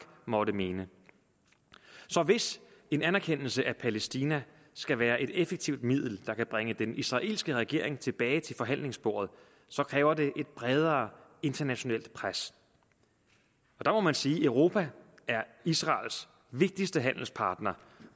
måtte mene så hvis en anerkendelse af palæstina skal være et effektivt middel der kan bringe den israelske regering tilbage til forhandlingsbordet kræver det et bredere internationalt pres der må man sige at europa er israels vigtigste handelspartner